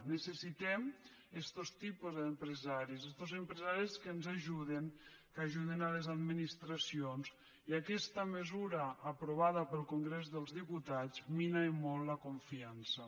necessitem estos tipus d’empresaris estos empresaris que ens ajuden que ajuden les administracions i aquesta mesura aprovada pel congrés dels diputats mina i molt la confiança